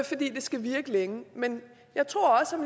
fordi det skal virke længe men jeg tror også